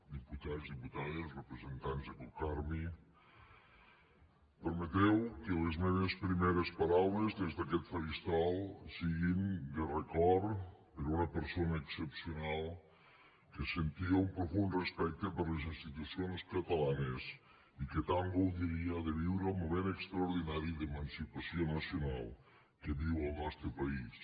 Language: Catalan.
diputats diputades representants de cocarmi permeteu que les meves primeres paraules des d’aquest faristol siguin de record per una persona excepcional que sentia un profund respecte per les institucions catalanes i que tant gaudiria de viure el moment extraordinari d’emancipació nacional que viu el nostre país